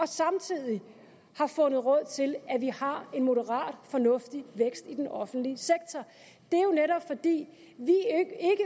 samtidig har fundet råd til at vi har en moderat fornuftig vækst i den offentlige sektor det